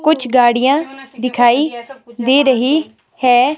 कुछ गाड़ियां दिखाई दे रही है।